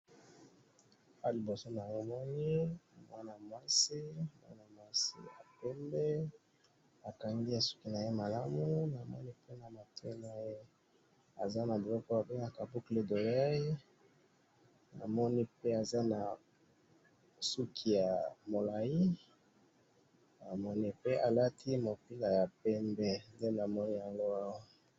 Awa na moni mwasi kitoko na suki mingi a matin ki talatala na mupila ya pembe.